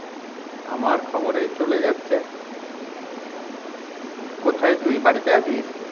আমার খবর এই চলে যাচ্ছে। কোথায় তুই বাড়িতে আছিস?